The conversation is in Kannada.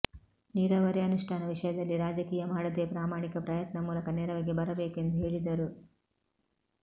ನೀರಾವರಿ ಅನುಷ್ಠಾನ ವಿಷಯದಲ್ಲಿ ರಾಜಕೀಯ ಮಾಡದೇ ಪ್ರಾಮಾಣಿಕ ಪ್ರಯತ್ನ ಮೂಲಕ ನೆರವಿಗೆ ಬರಬೇಕು ಎಂದು ಹೇಳಿದರು